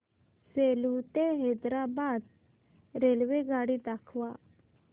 सेलू ते हैदराबाद रेल्वेगाडी दाखवा